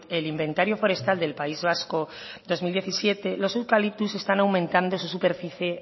el inventario forestal del país vasco dos mil diecisiete los eucaliptus están aumentando su superficie